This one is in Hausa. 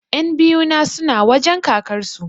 Ƴan biyu na suna wajen kakar su